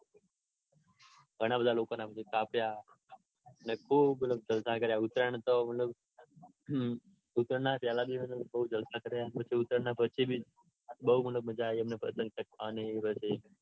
ઘણા બધા લોકોના બૌ કાપ્યા. ને ખુબ મતલબ જલસા કાર્ય. ઉત્તરાયણ તો મતલબ હમ ઉત્તરાયણના પેલા દિવસ તો બૌ જલસા કાર્ય. અને પછી ઉતરાણ ના પછી બી બૌ મજા આવી અમને પતંગ ચગાવાની અને